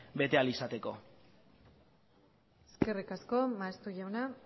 bete ahal izateko eskerrik asko maeztu jauna